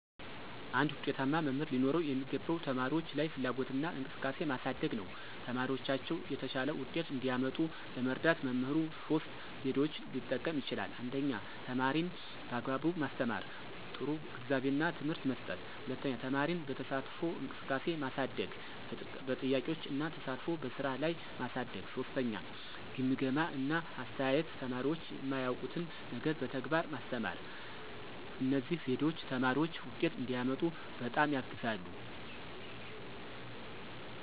አንድ ዉጤታማ መምህር ሊኖረው የሚገባው ተማሪዎች ላይ ፍላጎትና እንቅስቃሴ ማሳደግ ነው። ተማሪዎቻቸው የተሻለ ውጤት እንዲያመጡ ለመርዳት መምህሩ ሶስት ዘዴዎችን ሊጠቀም ይችላል 1) ተማሪን በአግባቡ ማስተማር – ጥሩ ግንዛቤና ትምህርት መስጠት፣ 2) ተማሪን በተሳትፎ እንቅስቃሴ ማሳደግ – በጥያቄዎች እና ተሳትፎ በስራ ላይ ማሳደግ፣ 3) ግምገማ እና አስተያየት – ተማሪዎች የማያውቁትን ነገር በተግባር ማስተማር። እነዚህ ዘዴዎች ተማሪዎች ውጤት እንዲያመጡ በጣም ያግዛሉ።